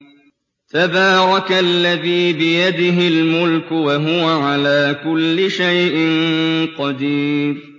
تَبَارَكَ الَّذِي بِيَدِهِ الْمُلْكُ وَهُوَ عَلَىٰ كُلِّ شَيْءٍ قَدِيرٌ